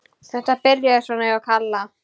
Þetta byrjaði svona hjá Kalla.